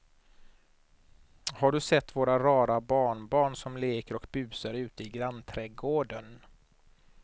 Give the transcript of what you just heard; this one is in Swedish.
Har du sett våra rara barnbarn som leker och busar ute i grannträdgården!